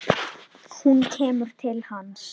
Hún kemur til hans.